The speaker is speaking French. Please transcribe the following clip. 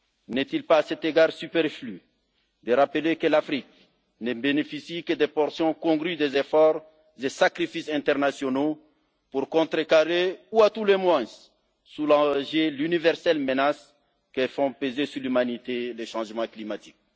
N'est il pas, à cet égard, superflu de rappeler que l'Afrique ne bénéficie que de portions congrues des efforts et sacrifices internationaux pour contrecarrer ou, à tout le moins, soulager l'universelle menace que font peser sur l'humanité les changements climatiques?